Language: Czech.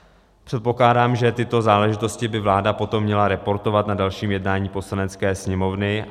Předpokládám, že tyto záležitosti by vláda potom měla reportovat na dalším jednání Poslanecké sněmovny.